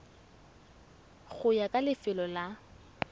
go ya ka lefelo la